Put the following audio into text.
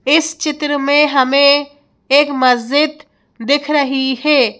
इस चित्र में हमें एक मस्जिद दिख रही है।